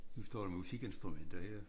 Nu står der musikinstrumenter her